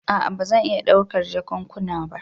A'a ba zan iya ɗaukar jakunkuna ba.